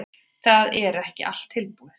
Það er ekki allt búið.